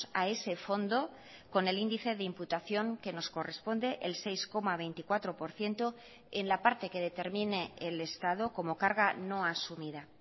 a ese fondo con el índice de imputación que nos corresponde el seis coma veinticuatro por ciento en la parte que determine el estado como carga no asumida